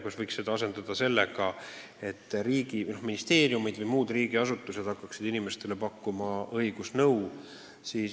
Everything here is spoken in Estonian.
Vahest võiks selle teenuse asendada sellega, et ministeeriumid või muud riigiasutused hakkaksid inimestele õigusnõu pakkuma?